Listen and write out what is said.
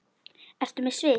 Ertu með svið?